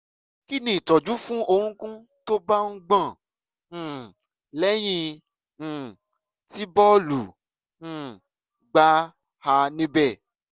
kí ni ìtọ́jú fún orúnkún tó bá ń gbọ̀n um lẹ́yìn um tí bọ́ọ̀lù um gbá a níbẹ̀?